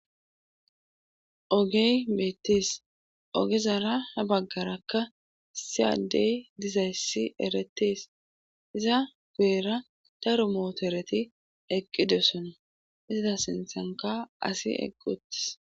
Ogey beettes ogezarakka ha baggara issi addey dizayssi erettees iza guyera daro mootoreti eqqidosona iza sinthankka asi eqqi uttis.